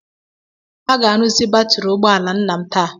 A ga-arụzi batrị ụgbọ ala nne m taa.